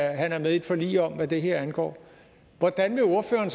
at han er med i et forlig om hvad det her angår hvordan vil ordføreren